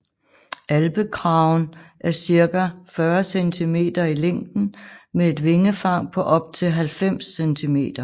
Alpekragen er cirka 40 centimeter i længden med et vingefang på op til 90 centimeter